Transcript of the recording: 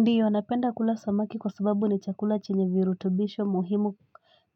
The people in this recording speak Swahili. Ndiyo anapenda kula samaki kwa sababu ni chakula chenye virutubisho muhimu